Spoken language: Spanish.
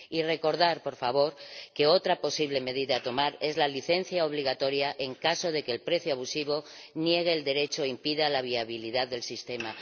Y deseo recordar también que otra posible medida a tomar es la licencia obligatoria en caso de que el precio abusivo niegue el derecho e impida la viabilidad del sistema.